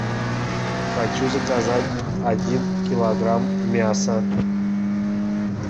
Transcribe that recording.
хочу заказать один килограмм мяса